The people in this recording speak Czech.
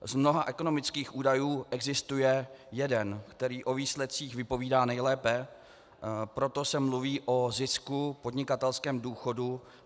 Z mnoha ekonomických údajů existuje jeden, který o výsledcích vypovídá nejlépe, proto se mluví o zisku, podnikatelském důchodu.